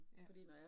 Ja